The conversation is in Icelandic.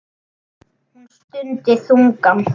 Hún stundi þungan.